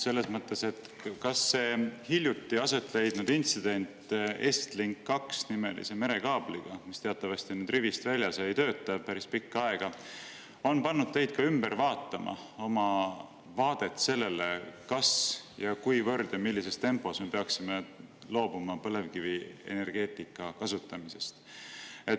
Selles mõttes, et kas see hiljuti aset leidnud intsident Estlink 2 nimelise merekaabliga, mis teatavasti on rivist väljas ja ei tööta päris pikka aega, on pannud teid ümber vaatama oma vaadet sellele, kas millises tempos me peaksime loobuma põlevkivienergeetika kasutamisest.